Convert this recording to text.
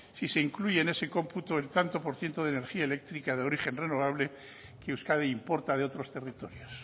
si se incluye en ese cómputo el tanto por ciento de energía eléctrica de origen renovable que euskadi importa de otros territorios